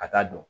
A t'a dɔn